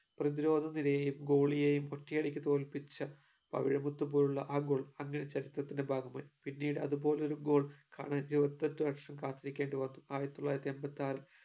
പ്രതിരോധ നിരയെയും goalie യെയും ഒറ്റയടിക്ക് തോൽപ്പിച്ച പവിഴമുത്തുപോലുള്ള ആ goal അങ്ങനെ ചരിത്രത്തിന്റെ ഭാഗമായി പിന്നീട് അത് പോലൊരു goal കാണാൻ ഇരുപത്തിയെട്ടു വർഷം കാത്തിരിക്കേണ്ടി വന്നു ആയിരത്തിതൊള്ളായിരത്തിഎമ്പത്തിയാറിൽ